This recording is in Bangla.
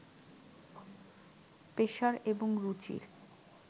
পেশার এবং রুচির